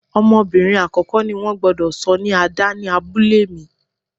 Ọmọbìnrin àkọ́kọ́ ni wón gbúdọ̀ sọ ní Ada ni abúlé mi.